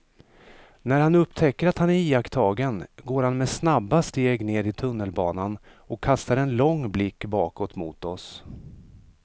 När han upptäcker att han är iakttagen går han med snabba steg ner i tunnelbanan och kastar en lång blick bakåt mot oss.